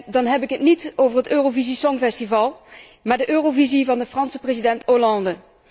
En dan heb ik het niet over het Eurovisie Songfestival, maar de eurovisie van de Franse president Hollande.